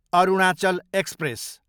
Arunachal express